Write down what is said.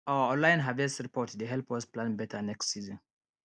our online harvest report dey help us plan better next season